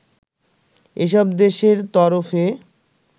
এসব দেশের তরফে